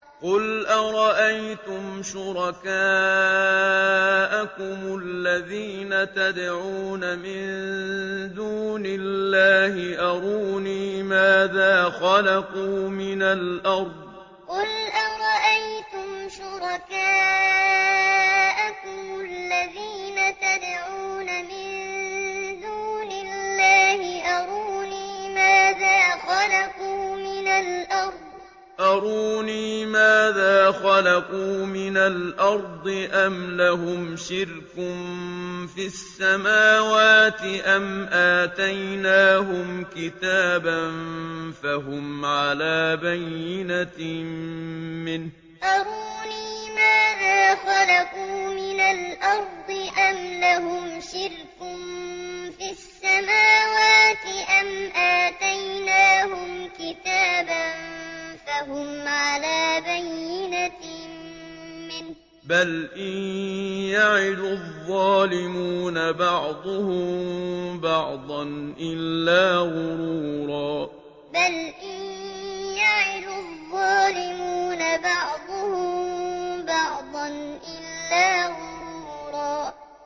قُلْ أَرَأَيْتُمْ شُرَكَاءَكُمُ الَّذِينَ تَدْعُونَ مِن دُونِ اللَّهِ أَرُونِي مَاذَا خَلَقُوا مِنَ الْأَرْضِ أَمْ لَهُمْ شِرْكٌ فِي السَّمَاوَاتِ أَمْ آتَيْنَاهُمْ كِتَابًا فَهُمْ عَلَىٰ بَيِّنَتٍ مِّنْهُ ۚ بَلْ إِن يَعِدُ الظَّالِمُونَ بَعْضُهُم بَعْضًا إِلَّا غُرُورًا قُلْ أَرَأَيْتُمْ شُرَكَاءَكُمُ الَّذِينَ تَدْعُونَ مِن دُونِ اللَّهِ أَرُونِي مَاذَا خَلَقُوا مِنَ الْأَرْضِ أَمْ لَهُمْ شِرْكٌ فِي السَّمَاوَاتِ أَمْ آتَيْنَاهُمْ كِتَابًا فَهُمْ عَلَىٰ بَيِّنَتٍ مِّنْهُ ۚ بَلْ إِن يَعِدُ الظَّالِمُونَ بَعْضُهُم بَعْضًا إِلَّا غُرُورًا